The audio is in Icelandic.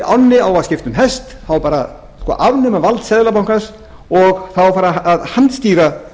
ánni á að skipta um hest það á bara að afnema vald seðlabankans og það á að fara að handstýra